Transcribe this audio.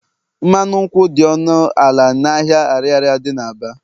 mmanụ nkwụ dị ọnụ ala n'ahịa Ariaria dị n'Aba